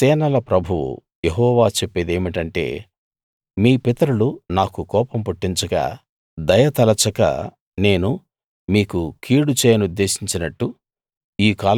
సేనల ప్రభువు యెహోవా చెప్పేదేమిటంటే మీ పితరులు నాకు కోపం పుట్టించగా దయ తలచక నేను మీకు కీడు చేయనుద్దేశించినట్టు